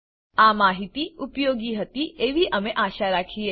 આ માહિતી ઉપયોગી હતી એવી અમે આશા રાખીએ છીએ